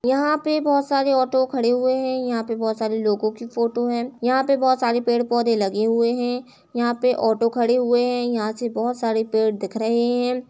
यहां पे बोहत सारे ऑटो खड़े हुए हैं। यहाँ पे बोहत सारे लोग की फ़ोटो है। यहाँ पे बोहत सारे पेड़-पौधे लगे हुए हैं यहां पे ऑटो खड़े हुए हैं। यहाँ से बोहत सारे पेड़ दिख रहे हैं।